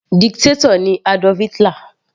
Dictator ni Adolf Hitler.